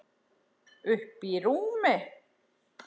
Uppí rúmi.